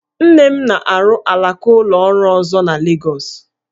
Nne m na-arụ alaka ụlọ ọrụ ọzọ na Legọs